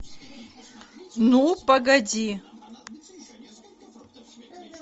ну погоди